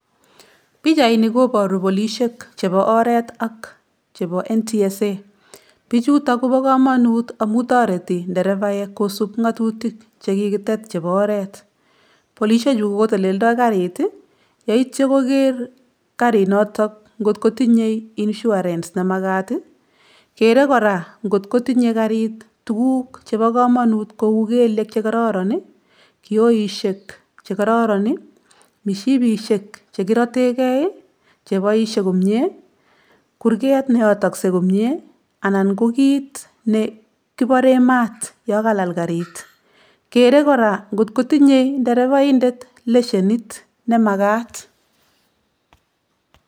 Pichaini koboru polishek chepo oret ak chepo NTSA. Pichuto kopo komonut amu toreti nderevaek kosup ng'atutik chekikitet chepo oret. Polishechu koteleldoi karit, yeityo koker karinoto nkot kotinye insurance nemakat. Kere kora nkot kotinye karit tuguk chepo komanut kou kelyek chekororon, kioishek chekororon, mishipishek chekirotekei chepoishe komie, kurket neyotoksei komie anan ko kit nekibore mat yokalal karit. Kere kora nkot kotinye nderevaindet leshenit nemakat.